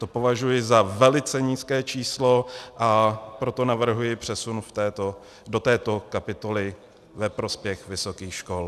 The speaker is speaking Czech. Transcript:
To považuji za velice nízké číslo, a proto navrhuji přesun do této kapitoly ve prospěch vysokých škol.